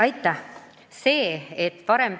Aitäh!